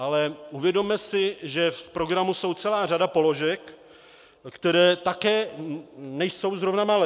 Ale uvědomme si, že v programu je celá řada položek, které také nejsou zrovna malé.